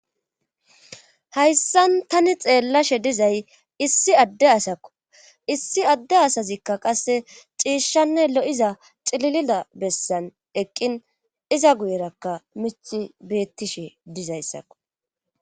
Hayssan tani xeellashe dizay issi adde asakko issi adde asazikka qasse ciishshanne lo'iza xililida bessan eqqin iza guyerakka mich beettishe dizayssakko.